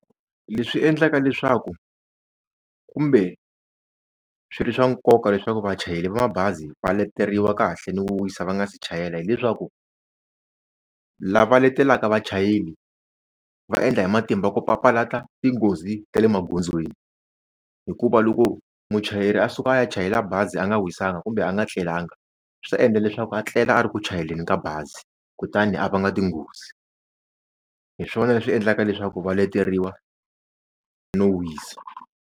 Leswi endlaka leswaku kumbe swi ri swa nkoka leswaku vachayeri va mabazi va leteriwa kahle ni ku wisa va nga se chayela hileswaku lava letelaka vachayeri va endla hi matimba ku papalata tinghozi ta le magondzweni hikuva loko muchayeri a suka a ya chayela bazi a nga wisanga kumbe a nga etlelanga swi ta endla leswaku a tlela a ri ku chayeleni ka bazi kutani a va nga tinghozi hi swona leswi endlaka leswaku va leteriwa no wisa.